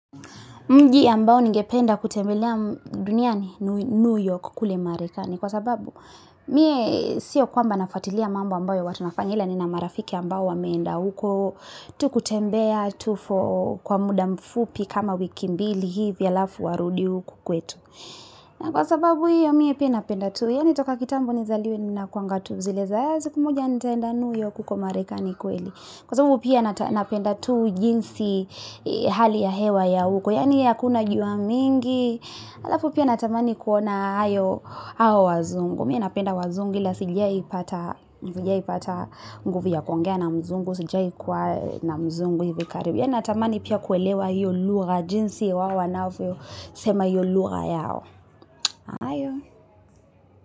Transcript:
Mji ambao ningependa kutembelea New York kule marekani kwa sababu Mie siyo kwamba nafuatilia mambo ambayo watu wanafanya ila nina marafiki ambao wameenda huko kutembea tu, kwa muda mfupi kama wiki mbili hivi alafu arudi huku kwetu na kwa sababu hiyo mie pia napenda tu, yaani toka kitambo nizaliwe ni na kwangatu, zilezaya zikumuja ntenda New York kuko marekani kuali kwa sababu pia napenda tu, jinsi, hali ya hewa ya huko, yaani hakuna jua mingi alafu pia natamani kuona hayo hao wazungu, mie napenda wazungu ila sijawahii pata nguvu ya kuongea na mzungu sijawahii kuwa na mzungu hivi karibu, yaani natamani pia kuelewa hiyo lugha, jinsi wao wanavyosema hiyo lugha yao.